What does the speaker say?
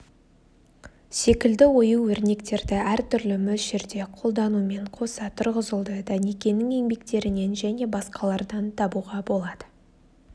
секілді ою-өрнектерді әртүрлі мөлшерде қолданумен қоса тұрғызылды даникенің еңбектерінен және басқалардан табуға болады